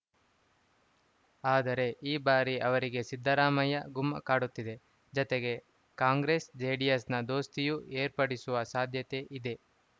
ಆದರೆ ಈ ಬಾರಿ ಅವರಿಗೆ ಸಿದ್ದರಾಮಯ್ಯ ಗುಮ್ಮ ಕಾಡುತ್ತಿದೆ ಜತೆಗೆ ಕಾಂಗ್ರೆಸ್‌ ಜೆಡಿಎಸ್‌ ದೋಸ್ತಿಯೂ ಏರ್ಪಡಿಸುವ ಸಾಧ್ಯತೆ ಇದೆ